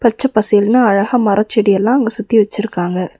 பச்ச பசேல்னு அழகா மரச்செடியெல்லா அங்க சுத்தி வெச்சிருக்காங்க.